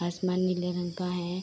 आसमान नीले रंग का है।